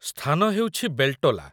ସ୍ଥାନ ହେଉଛି ବେଲ୍‌ଟୋଲା।